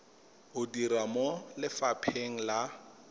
o dira mo lefapheng la